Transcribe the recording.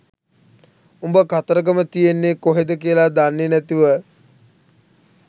උඹ කතරගම තියෙන්නේ කොහෙද කියලා දන්නේ නැතිව